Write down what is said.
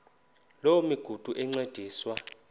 loo migudu encediswa